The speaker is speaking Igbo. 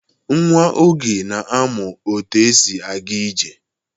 Nwa Oge na-amụ otu esi aga ije.